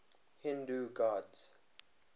hindu gods